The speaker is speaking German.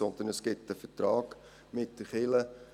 Vielmehr gibt es einen Vertrag mit der Kirche.